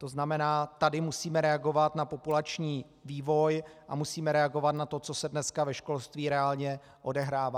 To znamená, tady musíme reagovat na populační vývoj a musíme reagovat na to, co se dneska ve školství reálně odehrává.